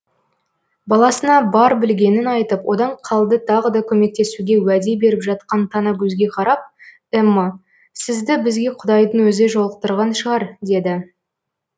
баласына бар білгенін айтып одан қалды тағы да көмектесуге уәде беріп жатқан танакөзге қарап эмма сізді бізге құдайдың өзі жолықтырған шығар деді